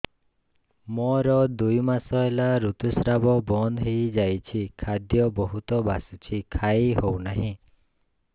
ମୋର ଦୁଇ ମାସ ହେଲା ଋତୁ ସ୍ରାବ ବନ୍ଦ ହେଇଯାଇଛି ଖାଦ୍ୟ ବହୁତ ବାସୁଛି ଖାଇ ହଉ ନାହିଁ